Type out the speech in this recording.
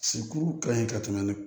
Sikuru ka ɲi ka tɛmɛ